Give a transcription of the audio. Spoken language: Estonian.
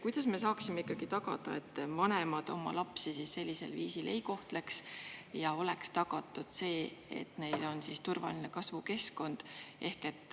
Kuidas me saaksime ikkagi tagada, et vanemad oma lapsi sellisel viisil ei kohtleks ja oleks tagatud see, et neil on turvaline kasvukeskkond?